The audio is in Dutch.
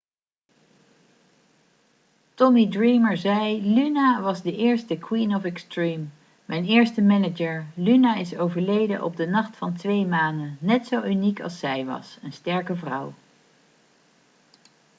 tommy dreamer zei 'luna was de eerste 'queen of extreme'. mijn eerste manager. luna is overleden op de nacht van twee manen. net zo uniek als zij was. een sterke vrouw.'